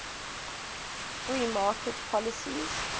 free market policies